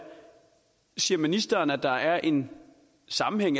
ser ministeren at der er en sammenhæng